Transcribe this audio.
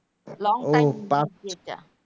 Long time যেটা